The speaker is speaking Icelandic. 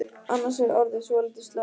Annars er ég orðin svolítið slöpp.